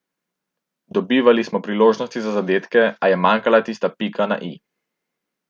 Dobivali smo priložnosti za zadetke, a je manjkala tista pika na i.